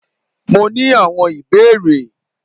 Mó ní awon ìbéèrè.